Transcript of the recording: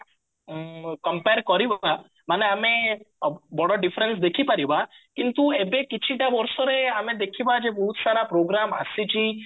compare କରିବା ମାନେ ଆମେ ଅ ବଡ difference ଦେଖିପାରିବା କିନ୍ତୁ ଏବେ କିଛି ଟା ବର୍ଷରେ ଆମେ ଦେଖିବା ଯେ ବହୁତ ସାରା program ଆସିଛି